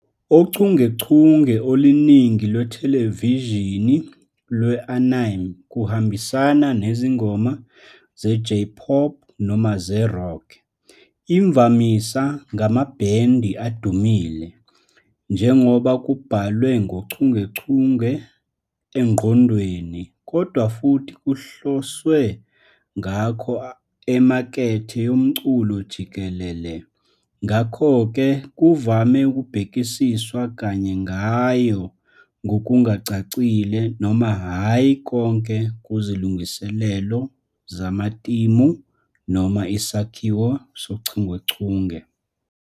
ochungechunge oluningi lwethelevishini lwe-anime kuhambisana nezingoma ze- J-pop noma ze-rock, imvamisa ngamabhendi adumile - njengoba kubhalwe ngochungechunge engqondweni - kodwa futhi kuhloswe ngakho emakethe yomculo jikelele, ngakho-ke kuvame ukubhekiswa kanye ngayo ngokungacacile noma hhayi konke kuzilungiselelo zamatimu noma isakhiwo sochungechunge.